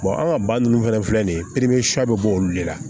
an ka ba ninnu fɛnɛ filɛ nin ye bɛ bɔ olu de la